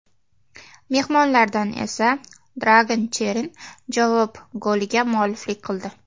Mehmonlardan esa Dragan Cheran javob goliga mualliflik qildi.